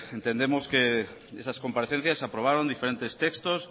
entendemos que en esas comparecencias se aprobaron diferentes textos